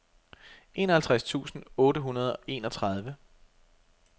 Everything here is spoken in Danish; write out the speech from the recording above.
enoghalvtreds tusind otte hundrede og enogtredive